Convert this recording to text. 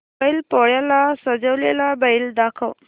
बैल पोळ्याला सजवलेला बैल दाखव